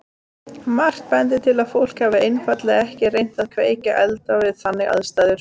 Margt bendir til að fólk hafi einfaldlega ekki reynt að kveikja eld við þannig aðstæður.